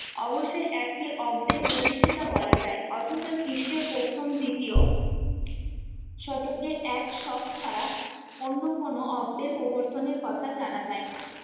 অবশ্যই একটি অব্দের প্রতিষ্ঠিতা বলা যায় অথচ খ্রিস্টীয় প্রথম দ্বিতীয় শতকে এক সব ফারা অন্য কোনো অব্দের প্রবর্তনের কথা জানা যায় না